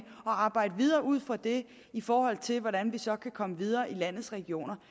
og arbejde videre ud fra det i forhold til hvordan vi så kommer videre i landets regioner